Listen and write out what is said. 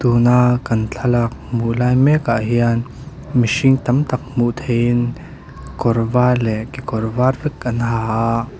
tuna kan thlalak hmuh lai mek ah hian mihring tam tak hmuh theih in kawr var leh kekawr var vek an ha a.